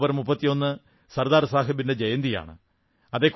October 31 Sardar സാഹബിന്റെ ജയന്തിയാണ്